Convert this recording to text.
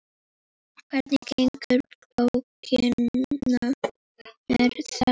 Hvernig ganga bókanir þar?